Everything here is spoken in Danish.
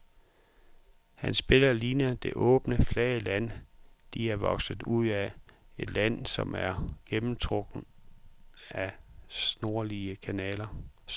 Hans billeder ligner det åbne, flade land, de er vokset ud af, et land der er gennemtrukket af snorlige kanaler.